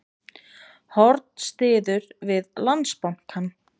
Horn styður við Landsbankann